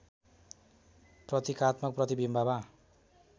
प्रतीकात्मक प्रतिबिम्बमा